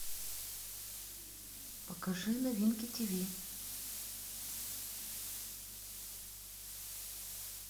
покажи новинки тв